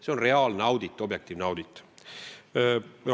See on objektiivne audit.